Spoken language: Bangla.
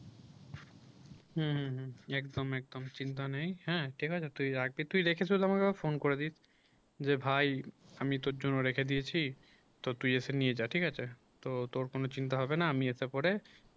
হুম হুম হুম একদম একদম চিন্তা নেই হ্যাঁ ঠিক আছে তুই রেখে তুই আমাকে একবার phone করে দিস যে ভাই আমি তোর জন্য রেখে দিয়েছি তা তুই এসে নিয়ে যা, ঠিক আছে তোর কোন চিন্তা হবে না আমি আশা করে